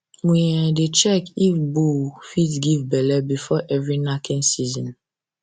we um dey check if bull fit give belle before every knacking season um